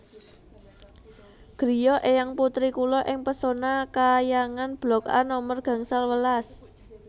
griya eyang putri kula ing Pesona Khayangan blok A nomer gangsal welas